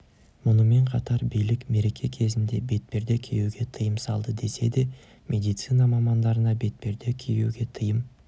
мұнымен қатар билік мереке кезінде бетперде киюге тыйым салды десе де медицина мамандарына бетперде киюге тыйым